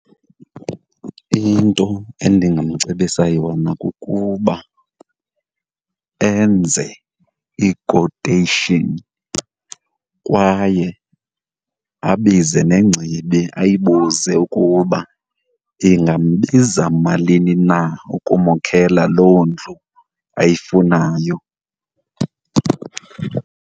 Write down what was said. Into endingamcebisa yona kukuba enze ikoteyishini kwaye abize nengcibi ayibuze ukuba, ingambiza malini na ukumokhelela loo ndlu ayifunayo.